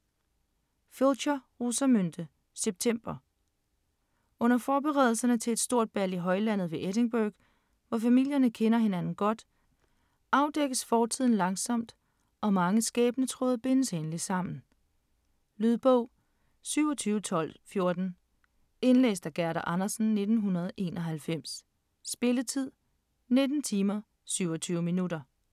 Pilcher, Rosamunde: September Under forberedelserne til et stort bal i højlandet ved Edingburgh, hvor familierne kender hinanden godt, afdækkes fortiden langsomt, og mange skæbnetråde bindes endelig sammen. Lydbog 27214 Indlæst af Gerda Andersen, 1991. Spilletid: 19 timer, 27 minutter.